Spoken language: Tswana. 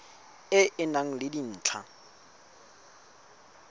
e e nang le dintlha